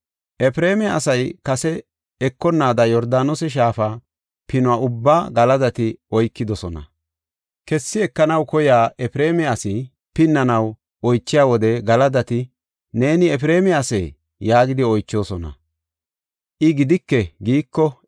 Efreema asay kessi ekonnaada Yordaanose shaafa pinuwa ubbaa Galadati oykidosona. Kessi ekanaw koyiya Efreema asi pinnanaw oychiya wode Galadati, “Neeni Efreema asee?” yaagidi oychoosona. I, “Gidike” giiko,